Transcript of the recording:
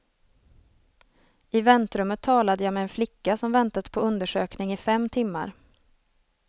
I väntrummet talade jag med en flicka som väntat på undersökning i fem timmar.